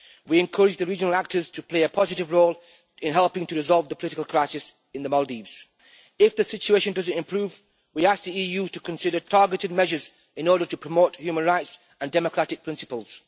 We encourage the regional actors to play a positive role in helping to resolve the political crisis in the Maldives. If the situation does not improve, we ask the EU to consider targeted measures in order to promote human rights and democratic principles.